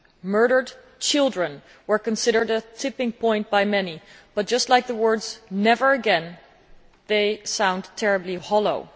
Murdered children were considered a tipping point' by many but, just like the words never again', this phrase sounds terribly hollow.